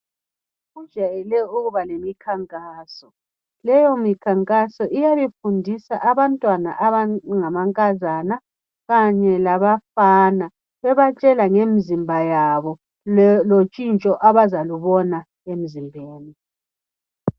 Kujayele ukuba lemikhankaso. Leyo mikhankaso iyabe ifundisa abantwana abangamankazana kanye lababafana bebatshela ngemzimba yabo lotshintsho abazalubona emzimbeni.